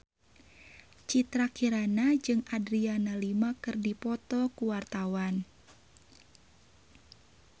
Citra Kirana jeung Adriana Lima keur dipoto ku wartawan